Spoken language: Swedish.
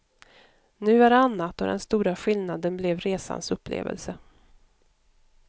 Nu är det annat, och den stora skillnaden blev resans upplevelse.